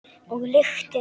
Og lyktin.